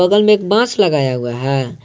में एक बास लगाया हुआ है।